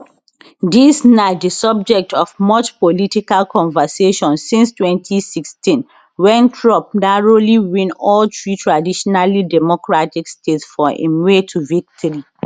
dis na di subject of much political conversation since 2016 wen trump narrowly win all three traditionally democratic states for im way to victory